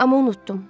Amma unutdum.